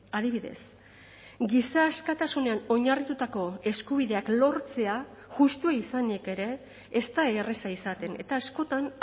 adibidez giza askatasunean oinarritutako eskubideak lortzea justua izanik ere ez da erraza izaten eta askotan